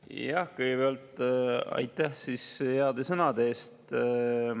Jah, kõigepealt aitäh heade sõnade eest!